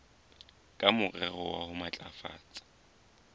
ka morero wa ho matlafatsa